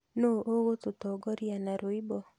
Nũũ ũgũtũtongoria na rwĩmbo?